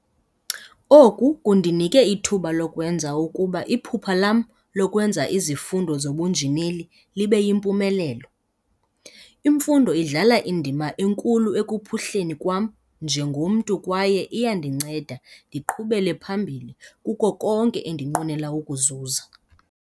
"Oku kundinike ithuba lokwenza ukuba iphupha lam lokwenza izifundo zobunjineli libe yimpumelelo. Imfundo idlala indima enkulu ekuphuhleni kwam njengomntu kwaye iyandinceda ndiqhubele phambili kuko konke endinqwenela ukukuzuza."